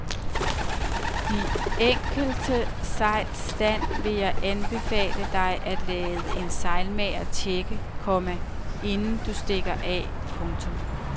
De enkelte sejls stand vil jeg anbefale dig at lade en sejlmager checke, komma inden du stikker af. punktum